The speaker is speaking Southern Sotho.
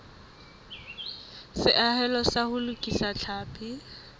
seahelo sa ho lokisa tlhapi